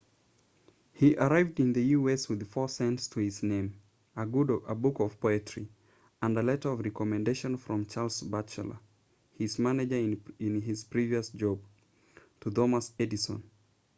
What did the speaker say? he arrived in the us with 4 cents to his name a book of poetry and a letter of recommendation from charles batchelor his manager in his previous job to thomas edison